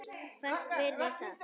Hvers virði er það?